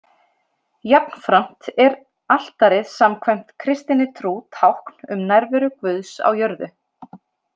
Jafnframt er altarið samkvæmt kristinni trú tákn um nærveru Guðs á jörðu.